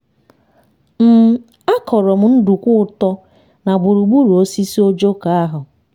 um a kọrọ m nduku-ụtọ na gburugburu osisi ojoko ahụ.